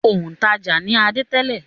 Òǹtajà ni Adé tẹ́lẹ̀.